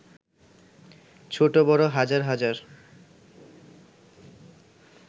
ছোট-বড় হাজার হাজার